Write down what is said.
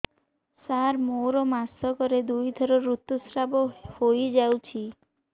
ସାର ମୋର ମାସକରେ ଦୁଇଥର ଋତୁସ୍ରାବ ହୋଇଯାଉଛି